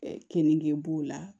Keninge b'o la